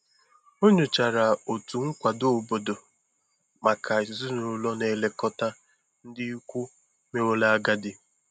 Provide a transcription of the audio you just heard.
Ọ nyochara otu nkwado obodo maka ezinụlọ na-elekọta ndị ikwu meworo agadi.